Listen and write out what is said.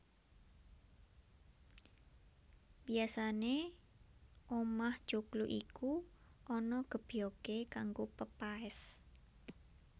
Biasané omah joglo iku ana gebyogé kanggo pepaès